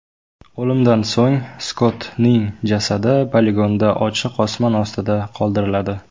O‘limdan so‘ng Skottning jasadi poligonda ochiq osmon ostida qoldiriladi.